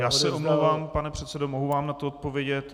Já se omlouvám, pane předsedo, mohu vám na to odpovědět.